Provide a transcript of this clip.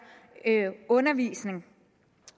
undervisning